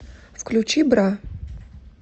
включи бра